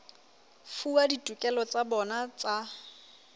fuwa ditokelo tsa bona tsa